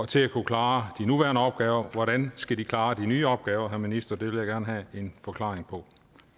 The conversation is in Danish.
til at kunne klare de nuværende opgaver og hvordan skal de klare de nye opgaver herre minister det vil jeg gerne have en forklaring på